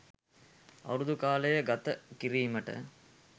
අවුරුදු කාලය ගත කිරීමට